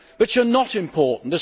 but you are not important.